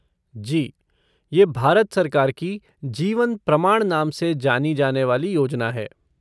जी, ये भारत सरकार की जीवन प्रमाण नाम से जानी जाने वाली योजना है।